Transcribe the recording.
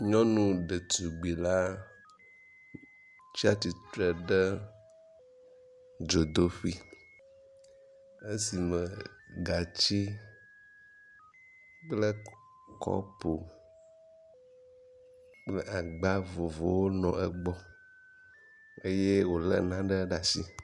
Nyɔnu ɖetugbi la tsi atsitre ɖe dzodoƒe esime gatsi kle kɔpu kple agba vovovowo nɔ egbɔ eye wo le nane ɖe asi.